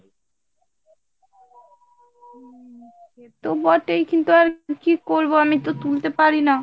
হম সেত বটেই, কিন্তু আর কি করবো আমি তো তুলতে পারিনা।